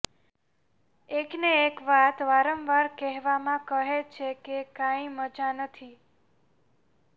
એક ને એક વાત વારંવાર કહેવામાં કહે છે કે કાંઇ મઝા નથી